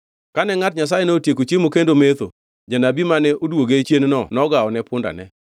Kane ngʼat Nyasayeno otieko chiemo kendo metho, janabi mane odwoge chienno nogawone pundane.